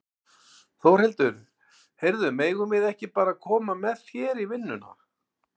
Þórhildur: Heyrðu, megum við ekki bara koma með þér í vinnuna?